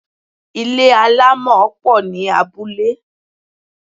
Ilé àlámọ̀ pọ̀ ní abúlé.